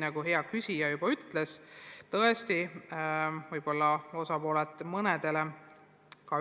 Nagu hea küsija juba ütles, võib-olla on see mõnedele